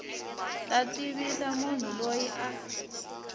ta tivisa munhu loyi a